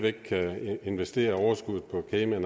investere overskuddet på cayman